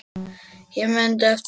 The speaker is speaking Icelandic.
Hún mundi eftir honum.